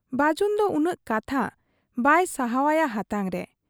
ᱵᱟᱹᱡᱤᱱᱫᱚ ᱩᱱᱟᱹᱜ ᱠᱟᱛᱷᱟ ᱵᱟᱭ ᱥᱟᱦᱚᱵ ᱟᱭᱟ ᱦᱟᱛᱟᱝᱨᱮ ᱾